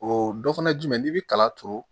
O dɔ fana ye jumɛn ye n'i bi kala turu